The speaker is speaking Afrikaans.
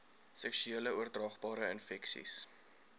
seksuele oordraagbare infeksies